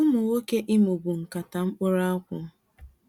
Umu nwoke Imo bu nkata mkpụrụ akwụ.